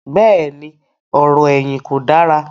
bẹ́ẹ̀ni, ọ̀rọ̀-ẹ̀yìn kò dára.